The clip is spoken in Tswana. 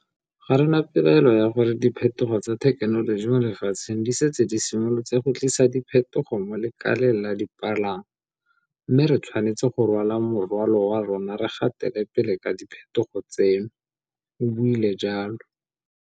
Ga re na pelaelo ya gore diphetogo tsa thekenoloji mo lefatsheng di setse di simolotse go tlisa diphetogo mo lekaleng la dipalangwa, mme re tshwanetse go rwala morwalo wa rona re gatele pele ka diphetogo tseno, o buile jalo.